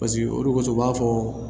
Paseke olu ko u b'a fɔ